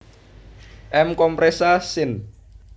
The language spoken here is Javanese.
M compressa syn